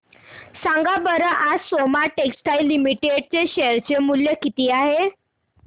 सांगा बरं आज सोमा टेक्सटाइल लिमिटेड चे शेअर चे मूल्य किती आहे